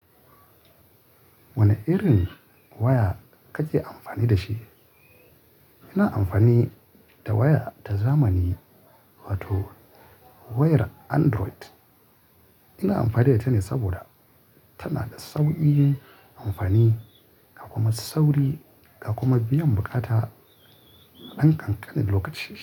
Wane irin waya kake amfani da shi? Ina amfani da waya ta zamani, wato wayar Android. Ina amfani da ita ne saboda, tana da sauƙin amfani, da kuma sauri, kuma biyan buƙata na ɗan ƙanƙanin lokaci.